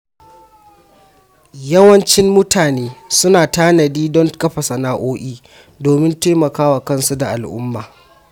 Yawancin mutane suna tanadi don kafa sana’o’i domin taimakon kansu da al’umma.